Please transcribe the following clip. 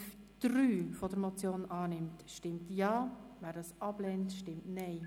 Wer die Ziffer 3 der Motion annehmen will, stimmt Ja, wer dies ablehnt, stimmt Nein.